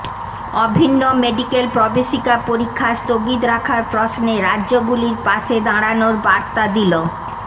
অভিন্ন মেডিক্যাল প্রবেশিকা পরীক্ষা স্থগিত রাখার প্রশ্নে রাজ্যগুলির পাশে দাঁড়ানোর বার্তা দিল